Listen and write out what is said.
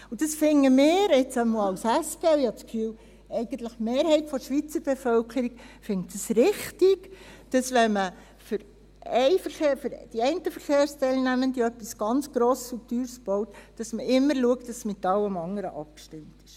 Und das finden wir, zumindest als SP – und ich habe das Gefühl, eigentlich die Mehrheit der Schweizer Bevölkerung –, richtig, wenn man für die einen Verkehrsteilnehmenden etwas ganz Grosses und Teures baut, dass man immer schaut, dass es mit allem anderen abgestimmt wird.